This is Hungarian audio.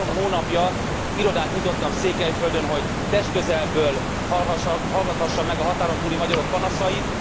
Én három hónapja irodát nyitottam Székelyföldön, hogy testközelből hallgathassam meg a határon túli magyarok panaszait.